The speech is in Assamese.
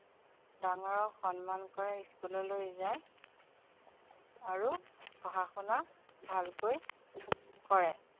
ডাঙৰক সন্মান কৰে school যায় আৰু পঢ়া-শুনা ভালকৈ কৰে